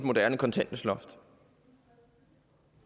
tak så er